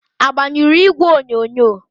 Agbanyụrụ igwe onyonyo?